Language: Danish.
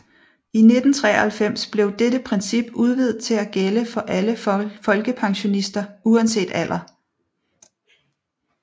I 1993 blev dette princip udvidet til at gælde for alle folkepensionister uanset alder